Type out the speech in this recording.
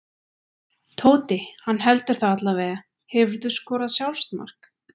Tóti, hann heldur það allavega Hefurðu skorað sjálfsmark?